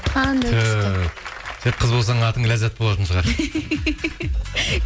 қандай күшті түһ сен қыз болсаң атың ләззат болатын шығар